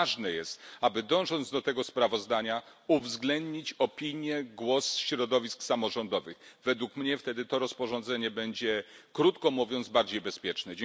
Ważne jest, aby dążąc do tego sprawozdania uwzględnić opinię, głos środowisk samorządowych. Według mnie wtedy to rozporządzenie będzie krótko mówiąc bardziej bezpieczne.